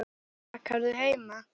Bakarðu heima?